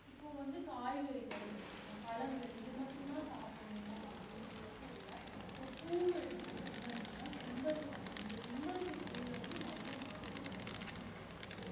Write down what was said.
இப்ப வந்து காய்கறிகள் பழங்கள் இது மட்டும்தான் சாப்பிடணுமா அப்படின்னு மட்டும் இல்ல இப்ப பூ எடுத்துக்கிட்டீங்க அப்படின்னா செம்பருத்திப்பூ இந்த செம்பருத்திப்பூல வந்து நிறைய மருத்துவ குணங்கள் வந்து இருக்கு